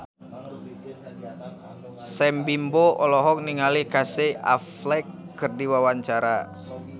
Sam Bimbo olohok ningali Casey Affleck keur diwawancara